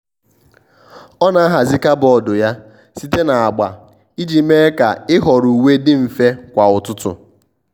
ọ́ nà-ahàzị́ kàbọ́ọ̀dù yá site na agba iji mee kà ị́họ́rọ́ uwe dị mfe kwa ụ́tụ́tụ́.